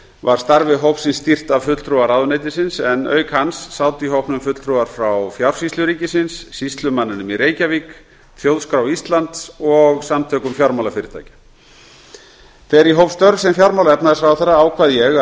var starfi hópsins stýrt af fulltrúa ráðuneytisins en auk hans sátu í hópnum fulltrúar frá fjársýslu ríkisins sýslumanninum í reykjavík þjóðskrá íslands og samtökum fjármálafyrirtækja þegar ég hóf störf sem fjármála og efnahagsráðherra ákvað ég